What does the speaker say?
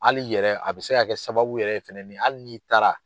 Hali yɛrɛ a bɛ se ka kɛ sababu yɛrɛ ye fɛnɛ ni hali n'i taara.